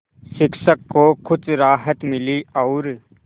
शिक्षक को कुछ राहत मिली और